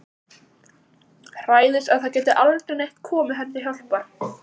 Hræðist að það geti aldrei neitt komið henni til hjálpar.